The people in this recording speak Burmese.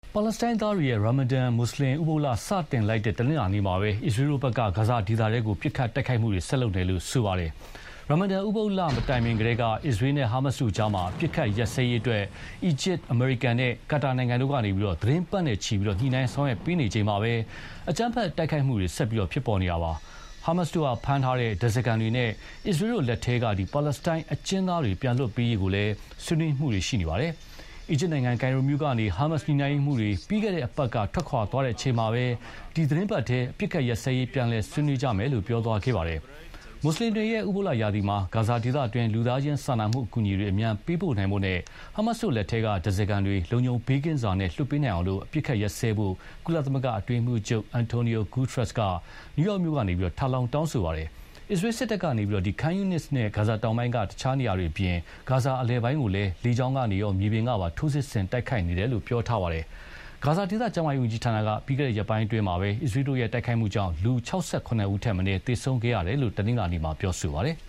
ပါလက်စတိုင်းသားတို့ရဲ့ ရာမာဒန် မွတ်ဆလင်ဥပုသ်လ စတင်လိုက်တဲ့တနင်္လာနေ့မှာပဲ အစ္စရေးလ်တို့ဘက်က ဂါဇာဒေသထဲ ပစ်ခတ်တိုက်ခိုက်နေတယ် လို့ဆိုပါတယ်။ ရာမာဒန်ဥပုသ်လမတိုင်မီကတည်းက အစ္စရေးလ်နဲ့ ဟာမတ်စ်တို့ကြား အပစ်အခတ်ရပ်စဲရေးအတွက် အီဂျစ်၊ အမေရိကန်နဲ့ ကာတာနိုင်ငံတွေက သီတင်းပတ်နဲ့ချီ ညှိနှိုင်းဆောင်ရွက်ပေးနေချိန်မှာပဲ အကြမ်းဖက်တိုက်ခိုက်မှုတွေ ဆက်ပြီးပေါ်ပေါက်နေတာပါ။ ဟာမတ်စ်တို့ဖမ်းထားတဲ့ ဓားစားခံတွေနဲ့ အစ္စရေးလ်တို့လက်ထဲက ပါလက်စတိုင်းအကျဥ်းသားတွေပြန်လွှတ်ပေးရေးကိုလည်း ဆွေးနွေးနေကြတာပါ။ အီဂျစ်နိုင်ငံ၊ ကိုင်ရိုမြို့ကနေ ဟာမတ်စ် ညှိနှိုင်းရေးမှူးတွေ ပြီးခဲ့တဲ့တပတ်က ထွက်ခွါသွားတဲ့အချိန်မှာပဲ ဒီသီတင်းပတ်ထဲ အပစ်အခတ်ရပ်စဲရေး ပြန်လည်ဆွေးနွေးမယ်လို့ ပြောသွားခဲ့ပါတယ်။ မွတ်ဆလင်တို့ရဲ့ ဥပုသ်လရာသီမှာ ဂါဇာဒေသတွင်း လူသားချင်းစာနာမှုအကူအညီတွေ အမြန်ပေးပို့နိုင်ဖို့နဲ့ ဟာမတ်စ်တို့လက်ထဲက ဓားစားခံတွေ လုံခြုံဘေးကင်းစွာ လွှတ်ပေးနိုင်အောင် အပစ်အခတ်ရပ်စဲပေးဖို့ ကုလသမဂ္ဂအတွင်းရေးမှူးချုပ် Antonio Guterres က နယူးယောက်မြို့ကနေ ထပ်လောင်း တောင်းဆိုပါတယ်။ အစ္စရေးလ်စစ်တပ်က Khan Younis နဲ့ ဂါဇာတောင်ပိုင်းက အခြားနေရာတွေအပြင် ဂါဇာအလယ်ပိုင်းကိုပါ လေကြောင်းကနေရာ မြေပြင်ကပါ ထိုးစစ်ဆင်တိုက်ခိုက်နေတယ်လို့ပြောထားပါတယ်။ ဂါဇာဒေသကျန်းမာရေးဝန်ကြီးဌာနက ပြီးခဲ့တဲ့ရက်ပိုင်းအတွင်း အစ္စရေးလ်တို့ရဲ့ တိုက်ခိုက်မှုကြောင့် လူ ၆၇ ဦးထက်မနည်းသေဆုံးခဲ့တယ်လို့ တနင်္လာနေ့မှာ ပြောပါတယ်။